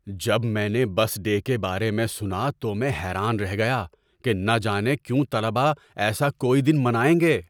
‏جب میں نے بس ڈے کے بارے میں سنا تو میں حیران رہ گیا کہ نہ جانے کیوں طلبہ ایسا کوئی دن منائیں گے۔